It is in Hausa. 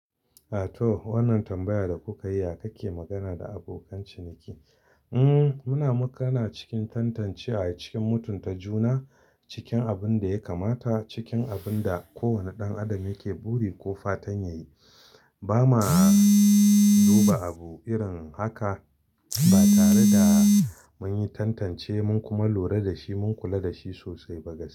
A to, wannan tambayar da kuka yi haka ke magana da abokan ciniki. Mm, muna magana cikin tantancewa cikin mutunta juna, cikin abin da ya kamata, cikin abin da kowane ɗan adam yake buri ko fatan ya yi. Ba ma duba abu irin haka ba tare da mun yi tantance mun kuma lura da shi mun kula da shi sosai ba gaskiya.